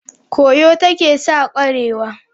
Kwoyo ta ke sa kwarewa.